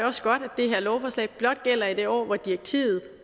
også godt at det her lovforslag blot gælder i det år hvor direktivet